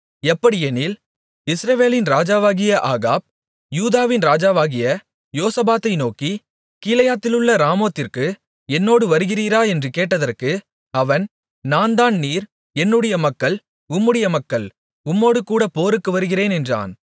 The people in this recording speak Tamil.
எப்படியெனில் இஸ்ரவேலின் ராஜாவாகிய ஆகாப் யூதாவின் ராஜாவாகிய யோசபாத்தை நோக்கி கீலேயாத்திலுள்ள ராமோத்திற்கு என்னோடு வருகிறீரா என்று கேட்டதற்கு அவன் நான் தான் நீர் என்னுடைய மக்கள் உம்முடைய மக்கள் உம்மோடுகூட போருக்கு வருகிறேன் என்றான்